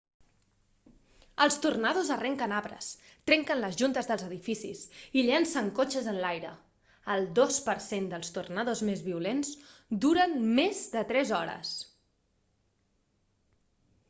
els tornados arrenquen arbres trenquen les juntes dels edificis i llencen cotxes enlaire el dos per cent dels tornados més violents duren més de tres hores